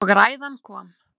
Og ræðan kom.